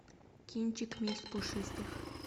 кинчик месть пушистых